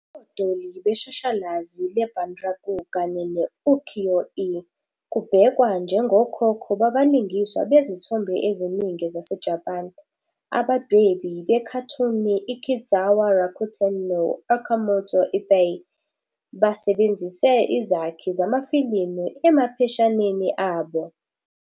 "Odoli" beshashalazi le-bunraku kanye ne- "ukiyo-e" kubhekwa njengokhokho babalingiswa bezithombe eziningi zaseJapan. Abadwebi bekhathuni uKitzawa Rakuten no- Okamoto Ippei basebenzise izakhi zamafilimu emapheshaneni abo.